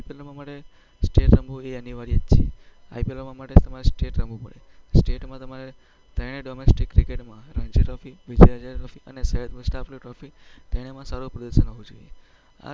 રમવું એ અનિવાર્ય જ છે. IPL માં રમવા માટે તમારે સ્ટેટ રમવું જ પડે. સ્ટેટમાં તમારે ત્રણેય ડોમેસ્ટિક ક્રિકેટમાં રણજી ટ્રોફી, વિજય હઝારે ટ્રોફી અને સૈયદ મુસ્તાક અલી ટ્રોફી ત્રણેયમાં સારું પ્રદર્શન હોવું જોઈએ.